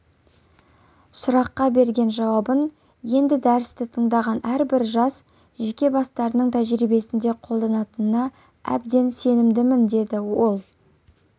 сұраққа берген жауабын енді дәрісті тыңдаған әрбір жас жеке бастарының тәжірибесінде қолданатынына әбден сенімдіміндеді ол